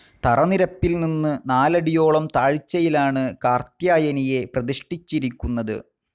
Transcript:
തറനിരപ്പിൽ നിന്ന് നാലടിയോളം താഴ്ചയിലാണ് കാർത്യായനിയെ പ്രതിഷ്ഠിച്ചിരിക്കുന്നത്.